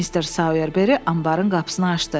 Mister Soyerberi anbarın qapısını açdı.